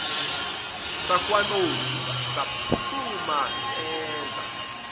sakwanozi saphuthuma seza